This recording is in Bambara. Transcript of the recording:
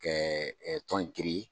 Kɛ tɔn in